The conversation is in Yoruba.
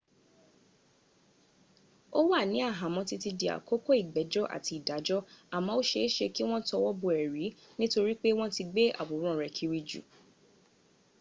ó wà ní àhámọ́ títí dí àkókò ìgbẹ́jọ́ àti ìdájọ́ àmọ́ ó se é se kí wọ́n tọwọ́ bọ ẹ̀rí nítorí pé wọ́n ti gbé àwòrán rẹ̀ kiri jù